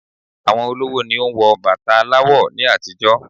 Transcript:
Àwọn olówó ni o n wo bàtà aláwọ̀ ni àtijọ́